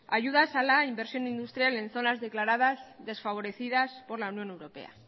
ayudas a la inversión industrial en zonas declaradas desfavorecidas por la unión europea